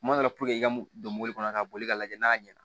Kuma dɔ la i ka don mɔbili kɔnɔ ka boli ka lajɛ n'a ɲɛna